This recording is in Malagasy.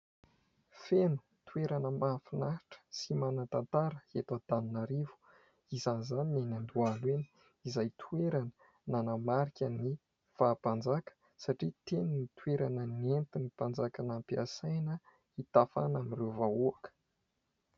Feno toerana mahafinahitra sy manan-tantara eto Antananarivo, isan'izany ny eny Andohalo eny : izay toerana nanamarika ny faha-mpanjaka, satria teny ny toerana nentin'ny mpanjaka nampiasaina hitafana amin'ireo vahoaka.